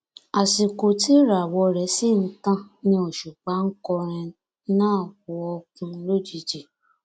àsìkò tí ìràwọ rẹ sì ń tàn ni òṣùpá onkọrin náà wọọkùn lójijì